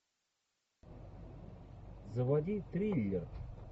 заводи триллер